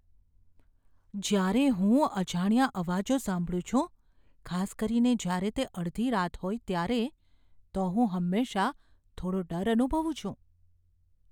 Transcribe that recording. જ્યારે હું અજાણ્યા અવાજો સાંભળું છું, ખાસ કરીને જ્યારે તે અડધી રાત હોય ત્યારે, તો હું હંમેશાં થોડો ડર અનુભવું છું.